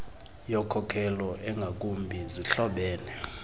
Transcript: yokhokelo engakumbi zihlobene